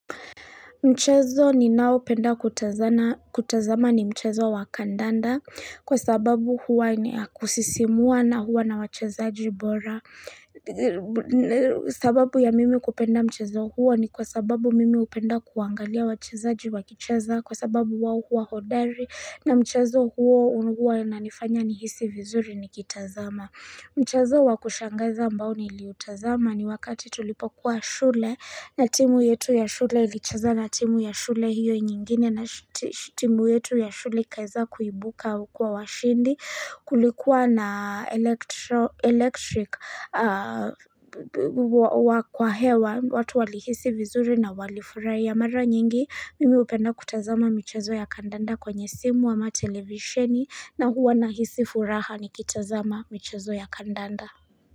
Mchezo ninao penda kutazama ni mchezo wa kadanda kwa sababu huwa kusisimua na huwa na wachezaji bora sababu ya mimi kupenda mchezo huwa ni kwa sababu mimi hupenda kuangalia wachezaji wakicheza kwa sababu huwa huwa hodari na mchezo huu huwa unanifanya nihisi vizuri nikitazama Mchezo wakushangaza ambao niliutazama ni wakati tulipokuwa shule na timu yetu ya shule ilicheza na timu ya shule hiyo nyingine na timu yetu ya shule ikaeza kuibuka kuwa washindi kulikuwa na electric kwa hewa watu walihisi vizuri na walifurahia. Ya mara nyingi mimi hupenda kutazama michezo ya kadanda kwenye simu ama televisheni na huwa nahisi furaha nikitazama michezo ya kadanda.